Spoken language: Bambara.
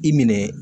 I minɛ